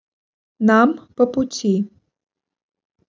нам по пути